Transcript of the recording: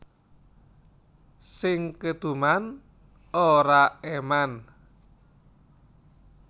Sing keduman ora eman